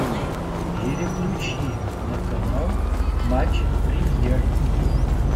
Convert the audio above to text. переключи на канал матч премьер